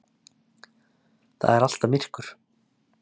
Það er alltaf myrkur.